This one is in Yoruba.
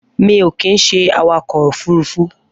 Mi ó kin ṣé àwákọ ófùrùfù